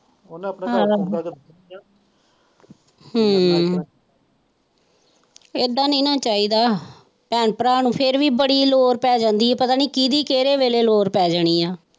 ਉਹਨਾਂ ਆ ਇਹਦਾ ਨਹੀਂ ਨਾ ਚਾਹੀਦਾ ਭੈਣ ਭਰਾ ਨੂੰ ਫੇਰ ਵੀ ਬੜੀ ਲੋੜ ਪੈ ਜਾਂਦੀ ਹੈ ਪਤਾ ਨਹੀਂ ਕਿੰਦੀ ਕਿਹੜੇ ਵੇਲੇ ਲੋੜ ਪੈ ਜਾਣੀ ਹੈ।